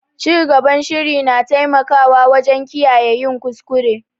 Cigaban shiri na taimakawa wajen kiyaye yin kuskure.